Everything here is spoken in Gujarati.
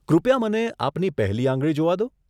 કૃપયા મને આપની પહેલી આંગળી જોવા દો.